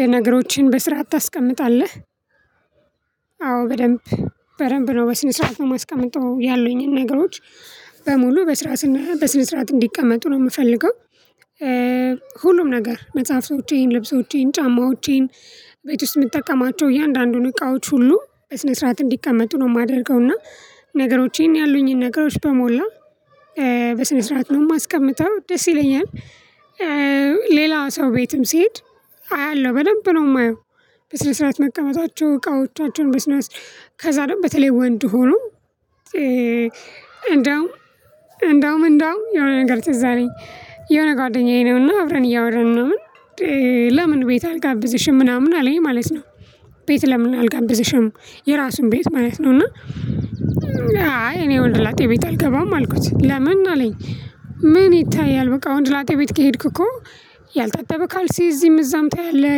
የነገሮችን በስራዓት ታስቀምጣለህ? አዎ በደንብ በደንብ ነው በስነ ስርዓት ነው ማስቀመጥ ያለኝን ነገሮች በሙሉ በስራ ስና በስነ ስርዓት እንዲቀመጡ ነው የምፈልገው። ሁሉም ነገር መጽሐፎቼን ልብሶቼን ጫማዎቼን ቤት ውስጥ የምጠቀማቸው እያንዳንዱን እቃዎች ሁሉ በስነ ስርዓት እንዲቀመጡ ነው የማደርገው እና ነገሮችን ያሉኝን ነገሮች በሞላ በስነ ስርዓት ነው የማስቀምጠው ደስ ይለኛል። ሌላ ሰው ቤትም ስሄድ አያለሁ በደንብ ነው የማየው። በስር ስርዓት መቀመጣቸው እቃዎቻቸውን በስነ ከዛ ደግሞ በተለይ ወንድ ሆኖ። እንደውም እንደውም እንደውም የሆነ ነገር ትዝ አለኝ የሆነ ጓደኛዬ ነውና አብረን እያወራን ምናምን ለምን ቤት አልጋብዝሽም ምናምን አለኝ ማለት ነው። ቤት ለምን አልጋብዝሽም? የራሱን ቤት ማለት ነው እና። አይ እኔ ወንድ ላጤ ቤት አልገባም አልኩት ለምን አለኝ? ምን ይታያል በቃ ወንድ ላጤ ቤት ከሄድኩ እኮ። ያልታጠበ ካልሴ እዚህም እዛም ታያለህ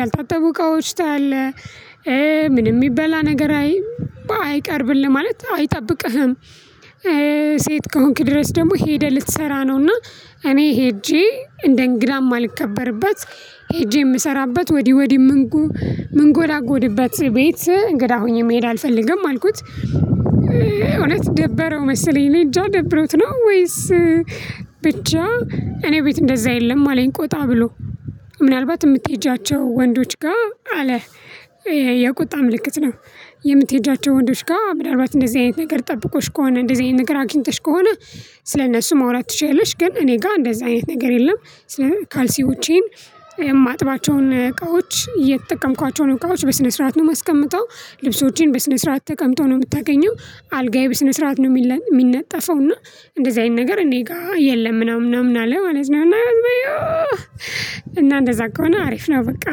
ያልታጠቡ እቃዎች ታያለህ። ምንም የሚበላ ነገር አይቀርብልህ ማለት አይጠብቅህም። ሴት ከሆንክ ድረስ ደግሞ ሄደህ ልትሰራ ነውና እኔ ሄጄ እንደ እንግዳ ማልከበርበት። ሄጄ የምሰራበት ወዲህ ወዲህ ምን ጎላጎድበት ቤት እንግዳ ሆኜ መሄድ አልፈልግም አልኩት። እውነት ደበረው መሰለኝ እኔ እንጃ ደብሮት ነው ወይስ? ብቻ እኔ ቤት እንደዛ የለም አለኝ ቆጣ ብሎ። ምናልባት የምትሄጃቸው ወንዶች ጋር አለ ይሄ። የቁጣ ምልክት ነው። የምትሄጃቸው ወንዶች ጋር ምናልባት እንደዚህ አይነት ነገር ጠብቆሽ ከሆነ እንደዚህ አይነት ነገር አግኝተሽ ከሆነ። ስለእነሱ ማውራት ትችያለሽ ግን እኔ ጋር እንደዛ አይነት ነገር የለም። ስለ ካልሲ ውጪ። የማጥባቸው እቃዎች የተጠቀምኳቸውን እቃዎች በስነ ስርዓት ነው ማስቀመጠው። ልብሶችን በስነ ስርዓት ተቀምጦ ነው የምታገኘው። አልጋዬ በስነ ስርዓት ነው የሚነጠፈው። እና እንደዚህ አይነት ነገር እኔ ጋር የለም ምናምን ምናምን አለ ማለት ነው። እና እንደዛ ከሆነ አሪፍ ነው በቃ።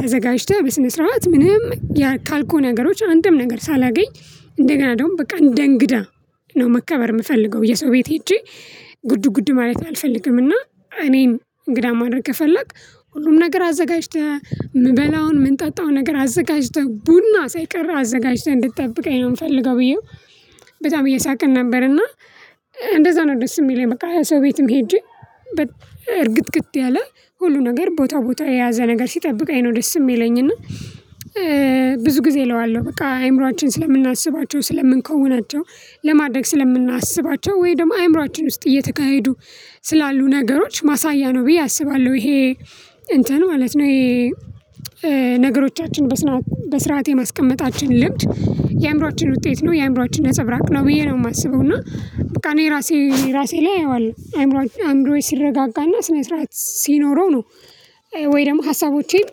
ተዘጋጅተህ በስነ ስርዓት ምንም ካልኩህ ነገሮች አንድም ነገር ሳላገኝ እንደገና እንደውም በቃ እንደ እንግዳ ነው መከበር የምፈልገው። የሰው ቤት ሄጄ ጉዱ ጉዱ ማለት አልፈልግም። እና እኔም እንግዳ ማድረግ ከፈለክ ሁሉም ነገር አዘጋጅተህ የምበላውን ምንጠጣው ነገር አዘጋጅተህ ቡና ሳይቀር አዘጋጅተህ እንድትጠብቀኝ የምፈልገው ብዬው። በጣም እየሳቀን ነበር እና። እንደዛ ነው ደስ የሚለኝ በቃ ሰው ቤትም ሄጄ እርግጥግጥ ያለ ሁሉ ነገር ቦታ ቦታ የያዘ ነገር ሲጠብቀኝ ነው ደስ የሚለኝ። እና ብዙ ጊዜ እለዋለሁ በቃ አይምሮአችን ስለምናስባቸው ስለምንከውናቸው ለማድረግ ስለምናስባቸው ወይ ደግሞ አእምሮአችን ውስጥ እየተካሄዱ ስላሉ ነገሮች ማሳያ ነው ብዬ አስባለሁ። ይሄ እንትን ማለት ነው ይሄ። ነገሮቻችን በስራዓት በስርዓት የማስቀመጣችን ልምድ የአእምሮአችን ውጤት ነው የአእምሮአችን ነፀብራቅ ነው ብዬ ነው የማስበው። እና በቃ እኔ ራሴ ራሴ ላይ አየዋለሁ አይምሮዬ ሲረጋጋና ስነ ስርዓት ሲኖረው ነው። ወይ ደግሞ ሀሳቦቼን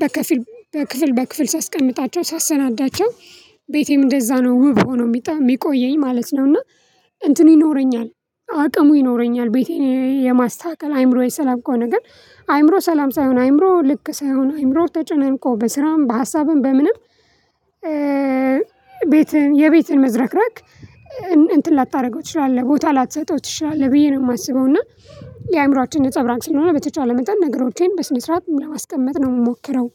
በከፍል በክፍል በክፍል ሳስቀምጣቸው ሳሰናዳቸው ቤቴም እንደዛ ነው ውብ ሆኖ የሚጠይ የሚቆየኝ ማለት ነው። እና እንትን ይኖረኛል አቅሙ ይኖረኛል ቤቴን የማስተካከል አይምሮዬ ሰላም ከሆነ ግን። አይምሮ ሰላም ሳይሆን አይምሮ ልክ ሳይሆን አይምሮ ተጨነን እኮ በስራም በሀሳብም በምንም። ቤትህን የቤትህን መዝረክረክ እንትን ላታደርገው ትችላለህ ቦታ ላተሰጠው ትችላለህ ብዬ ነው የማስበው። እና የአእምሮአችን ነፀብራቅ ስለሆነ በተቻለ መጠን ነገሮቼን በስነ ስርዓት ለማስቀመጥ ነው የምሞክረው።